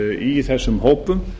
í þessum hópum